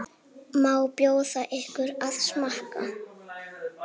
Má bjóða ykkur að smakka?